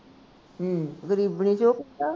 ਹੂੰ, ਗਰੀਬਣੀ ਸੀ ਉਹ ਕਹਿੰਦਾ